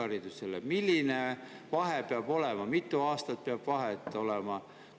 vahe peab olema, mitu aastat peab vahet olema?